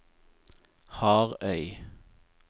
Harøy